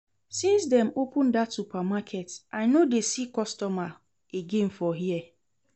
Since dem open dat supermarket I no dey see customer again for here